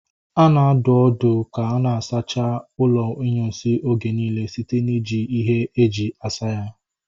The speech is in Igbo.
A na-adụ ọdụ ka a na-asacha ụlọ inyunsi oge niile site na ị ji ihe e ji asa ya